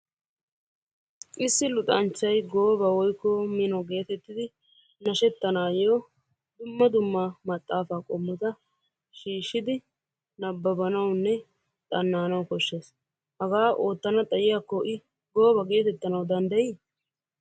Issi luxanchchay gooba woyikko mino geetettidi nashettanaayyo dumma dumma maxxaafaa qommota shiishshidi nabbabbanawunne xanna'anawu koshshes. Hagaa oottana xayiyakko i gooba geetettananwu danddayi?